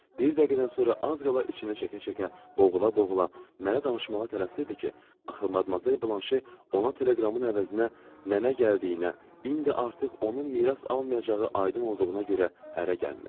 Bir dəqiqədən sonra az qala içinə çəkə-çəkə, boğula-boğula mənə danışmağa tələsirdi ki, axı Madmazel Blanşe ona teleqramın əvəzinə nənə gəldiyinə, indi artıq onun miras almayacağı aydın olduğuna görə ərə gəlmir.